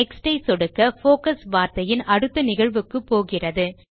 next ஐ சொடுக்க focus வார்த்தையின் அடுத்த நிகழ்வுக்குப்போகிறது